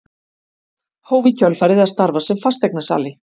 Hóf í kjölfarið að starfa sem fasteignasali.